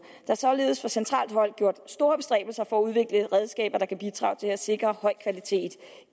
er således fra centralt hold gjort store bestræbelser for at udvikle redskaber der kan bidrage til at sikre høj kvalitet